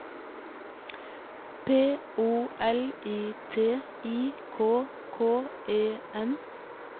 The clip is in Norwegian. P O L I T I K K E N